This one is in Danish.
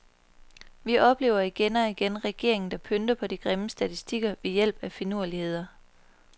Vi oplever igen og igen regeringer der pynter på de grimme statistikker ved hjælp af finurligheder.